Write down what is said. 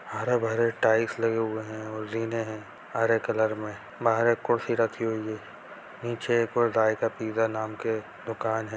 हरे भरे टाइल्स लगे हुए हैं और जीने है हरे कलर में बाहर एक कुर्सी रखी हुई है नीचे एक पिज्जा नाम के दुकान है।